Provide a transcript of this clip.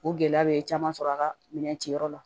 O gɛlɛya bɛ caman sɔrɔ a ka minɛn ciyɔrɔ la